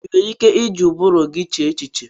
Ị nwere ike iji ụbụrụ gị chee echiche?